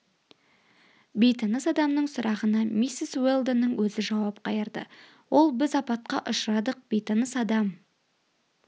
бейтаныс адамның сұрағына миссис уэлдонның өзі жауап қайырды ол біз апатқа ұшырадық бейтаныс адам